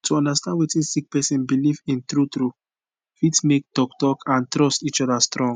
to understand wetin sick person belief in true true fit make talk talk and trust each oda strong